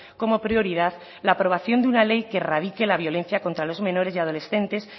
como prioridad la aprobación de una ley que erradique la violencia contra los menores y adolescentes